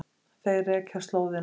Þeir rekja slóðina.